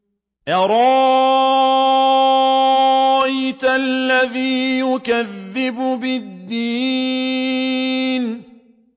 أَرَأَيْتَ الَّذِي يُكَذِّبُ بِالدِّينِ